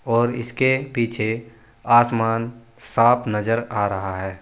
और इसके पीछे आसमान साफ नजर आ रहा है।